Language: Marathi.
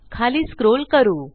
खाली scrollकरू